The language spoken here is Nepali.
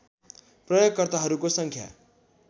प्रयोगकर्ताहरूको सङ्ख्या